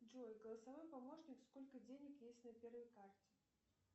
джой голосовой помощник сколько денег есть на первой карте